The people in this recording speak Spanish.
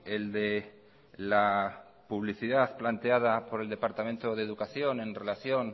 el de la publicidad planteada por el departamento de educación en relación